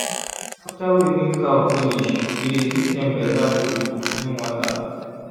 after we milk cow finish we dey give dem better food and clean water.